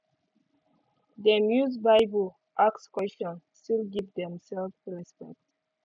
dem use bible ask question still give themselves respect